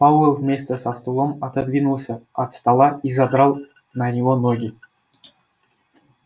пауэлл вместе со стулом отодвинулся от стола и задрал на него ноги